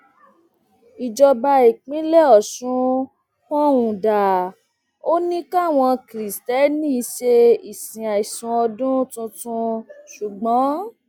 ìjọba ìpínlẹ ọṣun pohùn dà ò ní káwọn kristiẹni ṣe ìsìn àìsùn ọdún tuntun ṣùgbọn